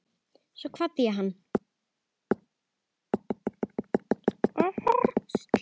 Svo kvaddi hann.